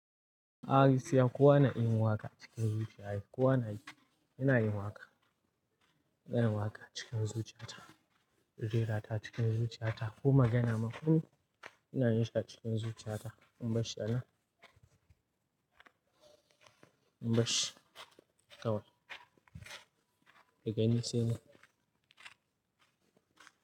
A'a gaskiya kowa na iya yin waka cikin zuciya. Kowa na yi, ina yin waƙa. Ina yin waƙa cikin zuciya ta. Rera ta cikin zuciya ta. Ko magana makuru ina yinshi a cikin zuciya ta. In bar shi anan? In bar shi kawai. Ka gani sai nan.